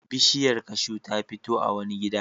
Bishiyar kashu ta fito a wani gida.